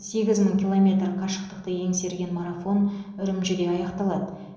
сегіз мың километр қашықтықты еңсерген марафон үрімжіде аяқталады